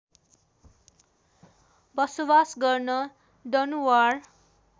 बसोवास गर्ने दनुवार